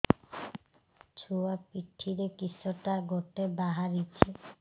ଛୁଆ ପିଠିରେ କିଶଟା ଗୋଟେ ବାହାରିଛି